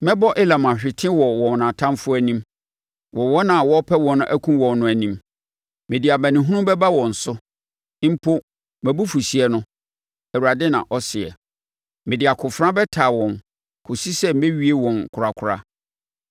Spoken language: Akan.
Mɛbɔ Elam ahwete wɔ wɔn atamfoɔ anim, wɔ wɔn a wɔrepɛ wɔn akum wɔn no anim; mede amanehunu bɛba wɔn so mpo mʼabufuhyeɛ no,” Awurade na ɔseɛ. “Mede akofena bɛtaa wɔn kɔsi sɛ mɛwie wɔn korakora.